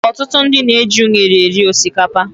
Ọtụtụ ndị na -eji unere eri osikapa.